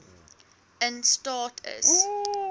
in staat is